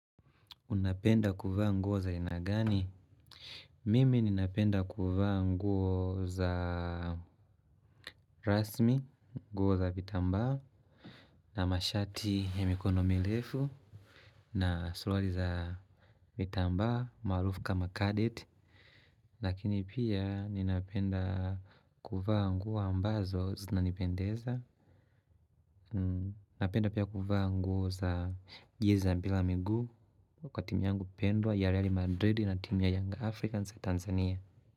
Unapenda kuvaa nguo za aina gani? Mimi ninapenda kuvaa nguo za rasmi, nguo za vitambaa, na mashati ya mikono mirefu, na suruali za vitambaa, maarufu kama kadet. Lakini pia ninapenda kuvaa nguo ambazo zinanipendeza. Napenda pia kuvaa nguo za jezi la mpira wa miguu kwa timu yangu pendwa ya Real Madrid na timu ya Young Africans ya Tanzania.